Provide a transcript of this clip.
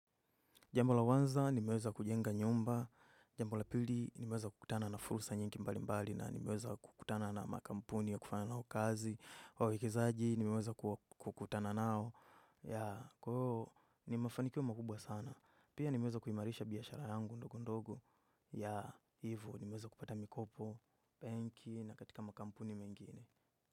Jambo la kwanza nimeweza kujenga nyumba, jambo la pili nimeweza kukutana na fursa nyingi mbalimbali na nimeweza kukutana na makampuni ya kufanya nao kazi. Kwa uwekezaji nimeweza kukutana nao. Ya, kwa hiyo ni mafanikio makubwa sana. Pia nimeweza kuimarisha biashara yangu ndogo ndogo. Ya, hivo nimeweza kupata mikopo benki na katika makampuni mengine.